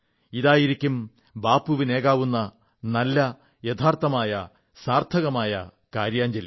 ഇതായിരിക്കും ബാപ്പുവിനേകാനാകുന്ന നല്ല യഥാർത്ഥമായ സാർഥകമായ കാര്യാഞ്ജലി